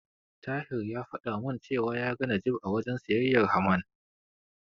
Tahir ya fada min cewa ya ga Najeeb a wajen siyayyar Haman.